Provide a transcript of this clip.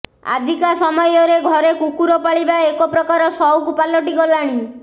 ଆଜିକା ସମୟରେ ଘରେ କୁକୁର ପାଳିବା ଏକ ପ୍ରକାର ସଉକ ପାଲଟି ଗଲାଣି